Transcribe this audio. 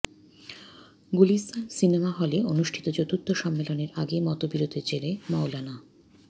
Gulistan cinema হলে অনুষ্ঠিত চতুর্থ সম্মেলনের আগে মতবিরোধের জেরে মওলানা